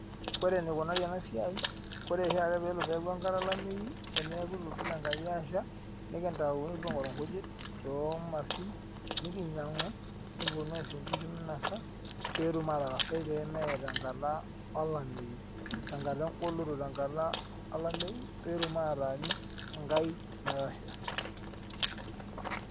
Ore enikunari ena siai ore oshiake pee eaku enkata olameyu teneaku itu itoki enkai asha nikitayu nikipuo aitayu inkujit too irkiushin nikinyangu nikiponu aisho inkishu meinosa pee etum aatarasai pee mee tenkata olameyu tenkata olameyu pee etum ataanyu enkai metaasha .